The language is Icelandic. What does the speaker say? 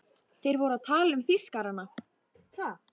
Þeir voru að tala um Þýskarana!